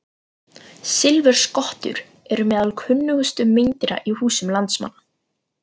Silfurskottur eru meðal kunnustu meindýra í húsum landsmanna.